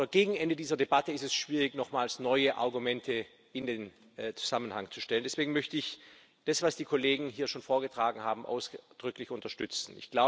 Gegen Ende dieser Debatte ist es schwierig, nochmals neue Argumente in den Zusammenhang zu stellen. Deswegen möchte ich das, was die Kollegen hier schon vorgetragen haben, ausdrücklich unterstützen.